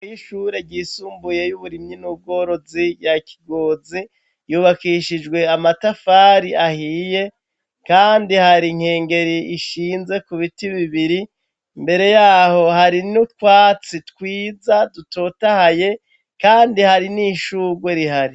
Y ishure ryisumbuyey'uburimyi n'ubworozi ya kigozi yubakishijwe amatafari ahiye, kandi hari inkengeri ishinze ku biti bibiri mbere yaho hari n'utwatsi twiza dutotahaye, kandi hari n'ishurwe rihari.